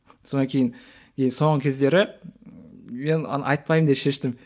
сонан кейін и соңғы кездері мен оны айтпаймын деп шештім